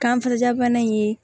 Kanfɛ ja bana in ye